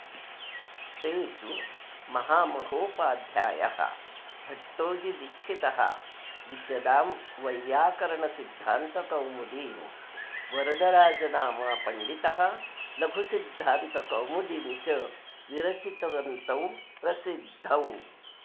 तेषु महामहोपाध्यायः भट्टोजीदीक्षितः विशदां वैय्याकरणसिद्धान्तकौमुदीं वरदराजनामा पण्डितः लघुसिद्धान्तकौमुदीं च विरचितवन्तौ प्रसिद्धौ